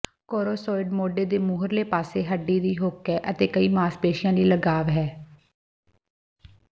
ਕੋਰੋਸੌਇਡ ਮੋਢੇ ਦੇ ਮੂਹਰਲੇ ਪਾਸੇ ਹੱਡੀ ਦੀ ਹੁੱਕ ਹੈ ਅਤੇ ਕਈ ਮਾਸਪੇਸ਼ੀਆਂ ਲਈ ਲਗਾਵ ਹੈ